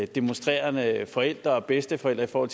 demonstrerende forældre og bedsteforældre